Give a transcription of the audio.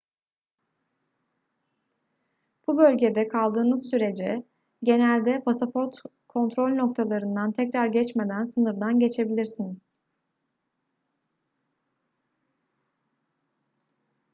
bu bölgede kaldığınız sürece genelde pasaport kontrol noktalarından tekrar geçmeden sınırdan geçebilirsiniz